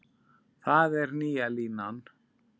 Það er nýja línan.